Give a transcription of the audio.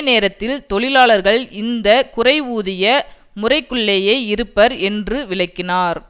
நேரத்தில் தொழிலாளர்கள் இந்த குறைவூதிய முறைக்குள்ளேயே இருப்பர் என்று விளக்கினார்